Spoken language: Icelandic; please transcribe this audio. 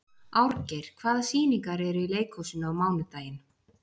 Árgeir, hvaða sýningar eru í leikhúsinu á mánudaginn?